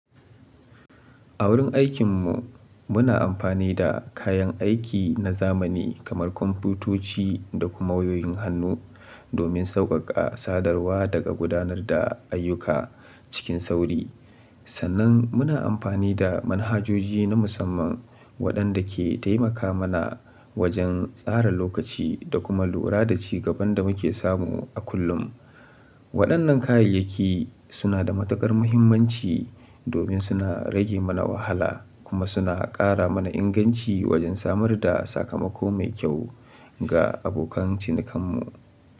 A wurin aikin mu, muna amfani da kayan aiki na zamani kamar kwamfutoci da kuma wayoyin hannu domin sauƙaƙa sadarwa da gudanar da ayyuka cikin sauri. Sannan muna amfani da manhajoji na musamman waɗanda ke taimaka mana wajen tsara lokaci da kuma lura da ci gaban da muke samu a kullum. Waɗannan kayayyaki suna da matukar muhimmanci domin suna rage mana wahala kuma suna ƙara mana inganci wajen samar da sakamako mai kyau ga abokan cinikanmu.